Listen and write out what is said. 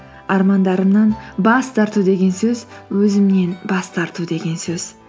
армандарымнан бас тарту деген сөз өзімнен бас тарту деген сөз